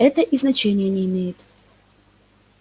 но и это значения не имеет